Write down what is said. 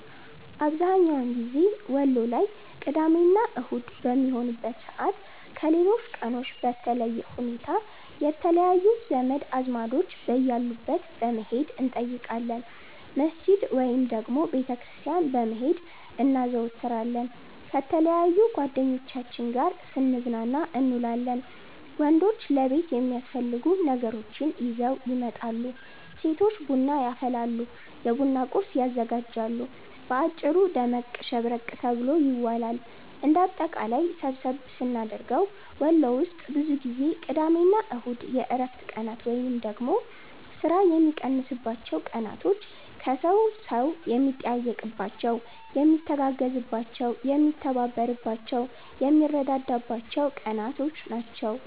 አብዝሀኛውን ጊዜ ወሎ ላይ ቅዳሜ እና አሁድ በሚሆንበት ሰዓት ከሌሎች ቀኖች በለየ ሁኔታ የተለያዩ ዘመድ አዝማዶች በያሉበት በመሄድ እንጠይቃለን፣ መስጅድ ወይንም ደግሞ ቤተ ክርስቲያን በመሄድ እናዘወትራለን፣ ከተለያዩ ጓደኞቻችን ጋር ስንዝናና እንውላለን። ወንዶች ለቤት የሚያስፈልጉ ነገራቶችን ይዘው ይመጣሉ፤ ሴቶች ቡና ያፈላሉ፤ የቡና ቁርስ ያዘጋጃሉ። በአጭሩ ደመቅ ሸብረቅ ተብሎ ይዋላል። እንደ አጠቃላይ ሰብሰብ ስናደርገው ወሎ ውስጥ ብዙ ጊዜ ቅዳሜ እና እሁድ የእረፍት ቀናት ወይንም ደግሞ ስራ የሚቀንስባቸው ቀናቶች፣ ሰው ከሰው የሚጠያየቅባቸው፣ የሚተጋገዝባቸው፣ የሚተባበርባቸው፣ የሚረዳዳበት ቀናቶች ናቸው።